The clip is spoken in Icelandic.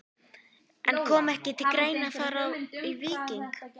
En kom ekki til greina að fara í Víking?